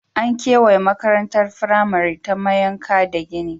An kewaye makarantar firamare ta mayanka da gini.